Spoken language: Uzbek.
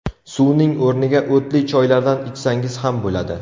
Suvning o‘rniga o‘tli choylardan ichsangiz ham bo‘ladi.